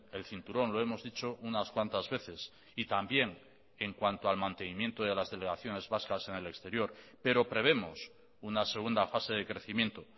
el cinturón lo hemos dicho unas cuantas veces y también en cuanto al mantenimiento de las delegaciones vascas en el exterior pero prevemos una segunda fase de crecimiento